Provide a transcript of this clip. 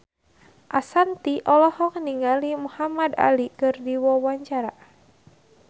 Ashanti olohok ningali Muhamad Ali keur diwawancara